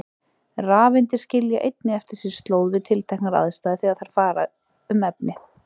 Rafeindir skilja einnig eftir sig slóð við tilteknar aðstæður þegar þær fara um efni.